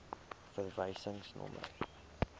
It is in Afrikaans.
verwysingsnommer